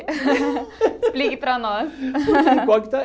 Explique para nós.